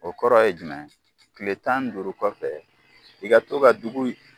O kɔrɔ ye jumɛn ye kile tan duuru kɔfɛ, i ka to ka dugu